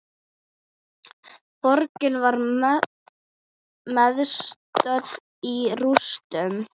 Borgin var mestöll í rústum.